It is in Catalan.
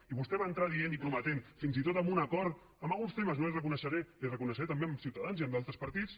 i vostè va entrar dient i prometent fins i tot amb un acord en alguns temes li ho reconeixeré també amb ciutadans i amb d’altres partits